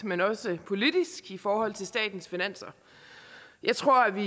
men også politisk i forhold til statens finanser jeg tror vi